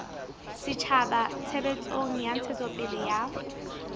setjhaba tshebetsong ya ntshetsopele ya